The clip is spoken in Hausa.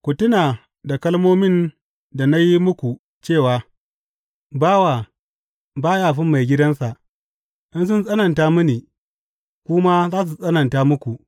Ku tuna da kalmomin da na yi muku cewa, Ba bawan da ya fi maigidansa,’ In sun tsananta mini, ku ma za su tsananta muku.